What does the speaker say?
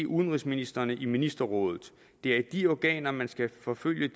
udenrigsministrene i ministerrådet det er i de organer man skal forfølge